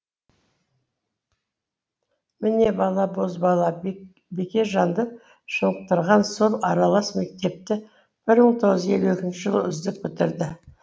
міне бала бозбала бекежанды шынықтырған сол аралас мектепті бір мың тоғыз жүз елу екінші жылы үздік бітірді